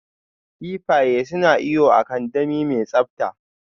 Kifaye suna iyo a kandami mai tsabta.